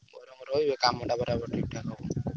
ତୋର ମୋର ରହିବା କାମଟା ବରାବର ଠିକ୍ ଠାକ୍ ହବ।